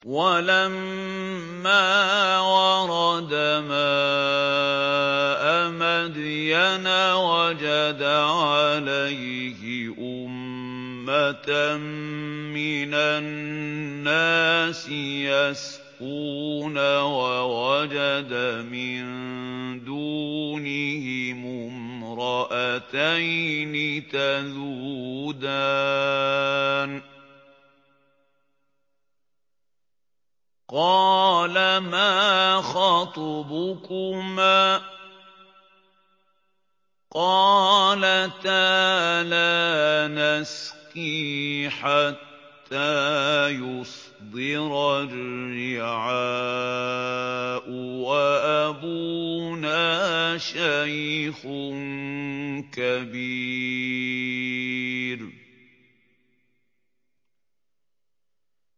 وَلَمَّا وَرَدَ مَاءَ مَدْيَنَ وَجَدَ عَلَيْهِ أُمَّةً مِّنَ النَّاسِ يَسْقُونَ وَوَجَدَ مِن دُونِهِمُ امْرَأَتَيْنِ تَذُودَانِ ۖ قَالَ مَا خَطْبُكُمَا ۖ قَالَتَا لَا نَسْقِي حَتَّىٰ يُصْدِرَ الرِّعَاءُ ۖ وَأَبُونَا شَيْخٌ كَبِيرٌ